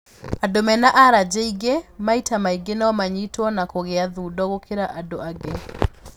Andũ mena aranjĩ ingĩ maita maingĩ no manyitwo nĩ kũgĩa thundo gũkĩra andũ angĩ.